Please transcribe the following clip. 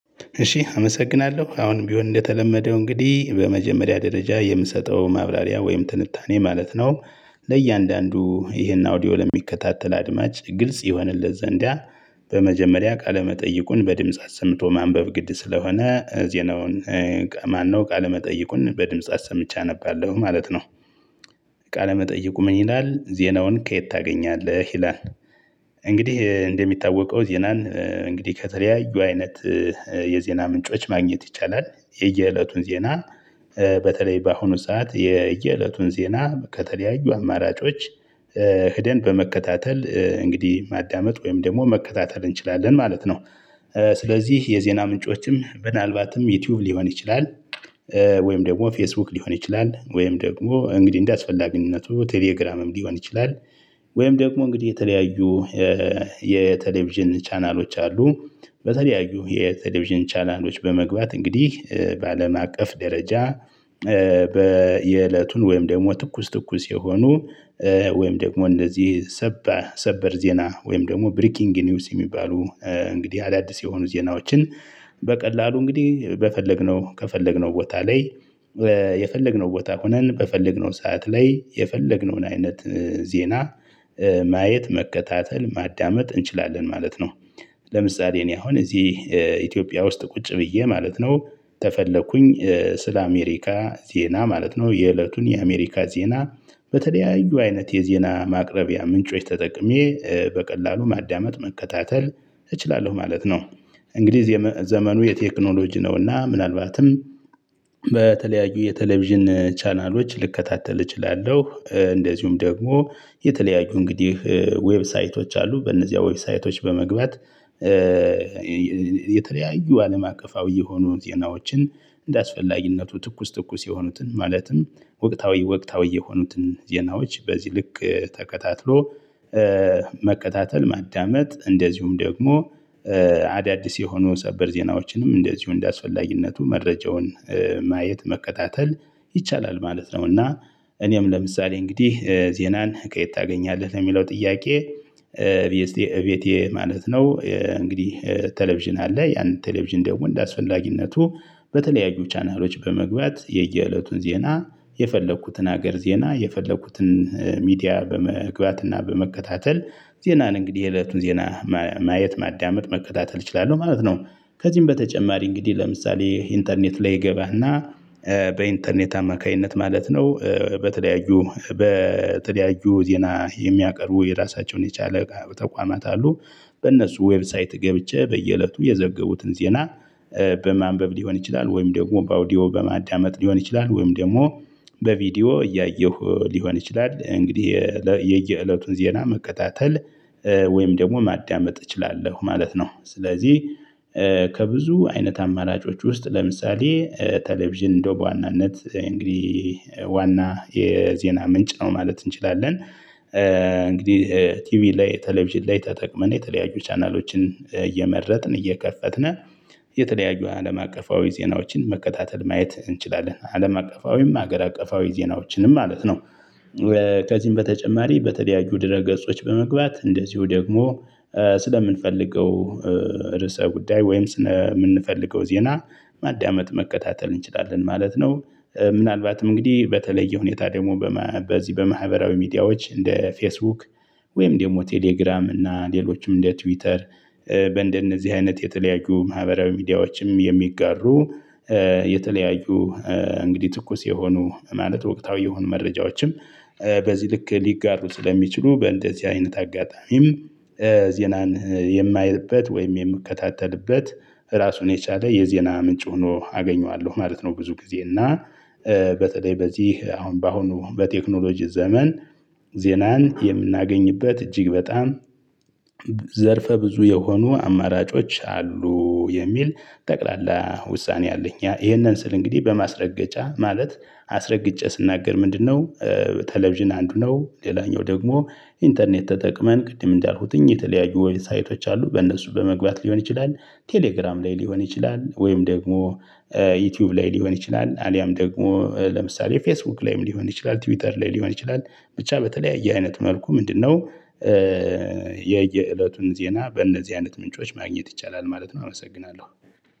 እሺ አመሰግናለሁ አሁን ቢሆን እንደተለመደው እንግዲህ በመጀመሪያ ደረጃ የምሰጠው ማብራሪያ ወይም ትንታኔ ማለት ነው። ለእያንዳንዱ ይሄን አውዲዮል የሚከታተል አድማጭ ግልጽ ይሆንለት ዘንዲያ። በመጀመሪያ ቃለ መጠይቁን በድምጽ አሰምቶ ማንበብ ግድ ስለሆነ ዜናውን? ማነው ቃለ መጠይቁን በድምጽ አሰምቼ አነባለሁ ማለት ነው። ቃለመጠይቁ ምን ይላል ዜናውን ከየት ታገኛለህ ሂላን? እንግዲህ እንደሚታወቀው ዜናን እንግዲህ ከተለያዩ አይነት የዜና ምንጮች ማግኘት ይቻላል። የየእለቱን ዜና በተለይ በአሁኑ ሰዓት የየእለቱን ዜና ከተለያዩ አማራጮች ሄደን በመከታተል እንግዲህ ማዳመጥ ወይም ደግሞ መከታተል እንችላለን ማለት ነው። ስለዚህ የዜና ምንጮችም ምናልባትም ዩቲዩብ ሊሆን ይችላል። ወይም ደግሞ ፌስቡክ ሊሆን ይችላል ወይም ደግሞ እንግዲህ እንደ ጸልዬ ግንኙነቱ ቴሌግራምም ሊሆን ይችላል። ወይም ደግሞ እንግዲህ የተለያዩ የቴሌቪዥን ቻናሎች አሉ በተለያዩ የቴሌቪዥን ቻናሎች በመግባት እንግዲህ በአለም አቀፍ ደረጃ። የእለቱን ወይም ደግሞ ትኩስ ትኩስ የሆኑ ወይም ደግሞ እንደዚህ ሰበር ዜና ወይም ደግሞ ብሪኪንግ ኒውስ የሚባሉ እንግዲህ አዳዲስ የሆኑ ዜናዎችን። በቀላሉ እንግዲህ በፈለግነው ከፈለግነው ቦታ ላይ የፈለግነው ቦታ ሆነን በፈለግነው ሰዓት ላይ የፈለግነውን አይነት ዜና ማየት መከታተል ማዳመጥ እንችላለን ማለት ነው። ለምሳሌ እኔ አሁን እዚህ ኢትዮጵያ ውስጥ ቁጭ ብዬ ማለት ነው ተፈለኩኝ ስለ አሜሪካ ዜና ማለት ነው የእለቱን የአሜሪካ ዜና በተለያዩ አይነት የዜና ማቅረቢያ ምንጮች ተጠቅሜ በቀላሉ ማዳመጥ መከታተል እችላለሁ ማለት ነው። እንግዲህ ዘመኑ የቴክኖሎጂ ነውና ምናልባትም በተለያዩ የቴሌቪዥን ቻናሎች ልከታተል እችላለሁ እንደዚሁም ደግሞ የተለያዩ እንግዲህ ዌብሳይቶች አሉ በእነዚያ ዌብሳይቶች በመግባት። የተለያዩ አለም አቀፋዊ የሆኑ ዜናዎችን እንደአስፈላጊነቱ ትኩስ ትኩስ የሆኑትን ማለትም ወቅታዊ ወቅታዊ የሆኑትን ዜናዎች በዚህ ልክ ተከታትሎ መከታተል ማዳመጥ እንደዚሁም ደግሞ አዳዲስ የሆኑ ጸበር ዜናዎችንም እንደዚሁ እንደአስፈላጊነቱ መረጃውን ማየት መከታተል ይቻላል። ማለት ነው እና እኔም ለምሳሌ እንግዲህ ዜናን ቀይት ታገኛለህ ለሚለው ጥያቄ? ቤቴ ማለት ነው እንግዲህ ቴሌቪዥን አለ ያንን ቴሌቪዥን ደግሞ እንደአስፈላጊነቱ በተለያዩ ቻናሎች በመግቢያት የየእለቱን ዜና የፈለኩትን ሀገር ዜና የፈለኩትን ሚዲያ በመግባት እና በመከታተል ዜናን እንግዲህ እለቱን ዜና ማየት ማዳመጥ መከታተል እችላለሁ ማለት ነው። ከዚህም በተጨማሪ እንግዲህ ለምሳሌ ኢንተርኔት ላይ ይገባና በኢንተርኔት አማካኝነት ማለት ነው በተለያዩ በተለያዩ ዜና የሚያቀርቡ የራሳቸውን የቻለ ተቋማት አሉ። በእነሱ ዌብሳይት ገብቼ በየእለቱ የዘገቡትን ዜና በማንበብ ሊሆን ይችላል ወይም ደግሞ በአውዲዮ በማዳመጥ ሊሆን ይችላል ወይም ደግሞ በቪዲዮ እያየሁ ሊሆን ይችላል እንግዲህ የየእለቱን ዜና መከታተል ወይም ደግሞ ማዳመጥ እችላለሁ ማለት ነው። ስለዚህ ከብዙ አይነት አማራጮች ውስጥ ለምሳሌ ቴሌቪዥን እንደው በዋናነት እንግዲህ ዋና የዜና ምንጭ ነው ማለት እንችላለን። እንግዲህ ቲቪ ላይ ቴሌቪዥን ላይ ተጠቅመን የተለያዩ ቻናሎችን እየመረጥን እየከፈትን የተለያዩ አለም አቀፋዊ ዜናዎችን መከታተል ማየት እንችላለን አለም አቀፋዊም ሀገር አቀፋዊ ዜናዎችንም ማለት ነው። ከዚህም በተጨማሪ በተደያዩ ድረ ገጾች በመግባት እንደዚሁ ደግሞ ስለምንፈልገው ርዕሰ ጉዳይ ወይም ስነ የምንፈልገው ዜና ማዳመጥ መከታተል እንችላለን ማለት ነው። ምናልባትም እንግዲህ በተለየ ሁኔታ ደግሞ በዚህ በማህበራዊ ሚዲያዎች እንደ ፌስቡክ ወይም ደግሞ ቴሌግራም እና ሌሎችም እንደ ትዊተር በእንደነዚህ አይነት የተለያዩ ማህበራዊ ሚዲያዎችም የሚጋሩ የተለያዩ እንግዲህ ትኩስ የሆኑ ማለት ወቅታዊ የሆኑ መረጃዎችም በዚህ ልክ ሊጋሩ ስለሚችሉ በእንደዚህ አይነት አጋጣሚም ዜናን የማይልበት ወይም የምከታተልበት ራሱን የቻለ የዜና ምንጭ ሆኖ አገኘዋለሁ ማለት ነው። ብዙ ጊዜ እና በተለይ በዚህ አሁን በአሁኑ በቴክኖሎጂ ዘመን ዜናን የምናገኝበት እጅግ በጣም ዘርፈ ብዙ የሆኑ አማራጮች አሉ የሚል። ጠቅላላ ውሳኔ አለኝ ይሄንን ስል እንግዲህ በማስረገጫ ማለት አስረግጬ ስናገር ምንድነው? ቴሌቪዥን አንዱ ነው ሌላኛው ደግሞ ኢንተርኔት ተጠቅመን ቅድም እንዳልኩትኝ የተለያዩ ወይም ሳይቶች አሉ በእነሱ በመግባት ሊሆን ይችላል። ቴሌግራም ላይ ሊሆን ይችላል ወይም ደግሞ ዩቲዩብ ላይ ሊሆን ይችላል አሊያም ደግሞ ለምሳሌ ፌስቡክ ላይም ሊሆን ይችላል ትዊተር ላይ ሊሆን ይችላል። ብቻ በተለያየ አይነት መልኩ ምንድነው? የየእለቱን ዜና በእነዚህ አይነት ምንጮች ማግኘት ይቻላል ማለት ነው አመሰግናለሁ።